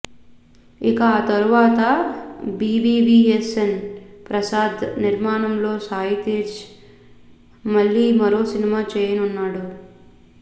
ఇక ఆ తరువాత బివివిఎస్ఎన్ ప్రసాద్ నిర్మాణంలో సాయి తేజ్ మళ్లీ మరో సినిమా చేయనున్నాడు